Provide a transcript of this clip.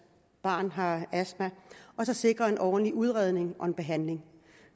barn har astma og sikrer en ordentlig udredning og behandling